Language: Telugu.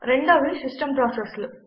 రెండోవి సిస్టమ్ ప్రాసెస్లు